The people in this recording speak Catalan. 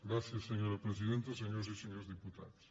gràcies senyora presidenta senyores i senyors diputats